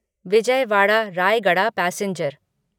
Vijayawada Rayagada passenger